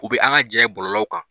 U bi an ka ja ye bɔlɔlɔw kan.